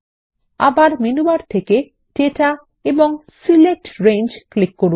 আবার menu bar থেকে data এবং সিলেক্ট রেঞ্জ ক্লিক করুন